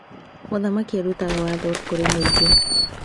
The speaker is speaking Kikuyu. Mũthamaki arutaga watho kũrĩ mũingĩ.